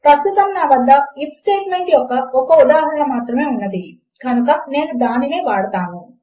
ప్రస్తుతము నా వద్ద ఐఎఫ్ స్టేట్మెంట్ యొక్క ఒక ఉదాహరణ మాత్రమే ఉన్నది కనుక నేను దానినే వాడతాను